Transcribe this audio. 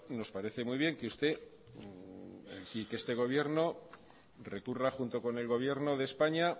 nos parece muy bien que este gobierno recurra junto con el gobierno de españa